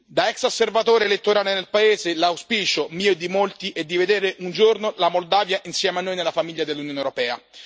Da ex osservatore elettorale nel paese, l'auspicio mio e di molti è di vedere un giorno la Moldavia, insieme a noi nella famiglia dell'Unione europea.